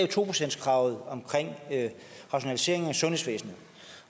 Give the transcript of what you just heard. to procentskravet omkring rationalisering af sundhedsvæsenet